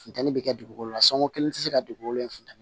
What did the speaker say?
Funteni bɛ kɛ dugukolo la sanko kelen tɛ se ka dugukolo in funtɛni